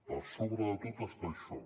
per sobre de tot està això